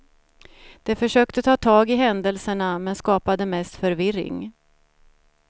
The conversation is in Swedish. De försökte ta tag i händelserna, men skapade mest förvirring.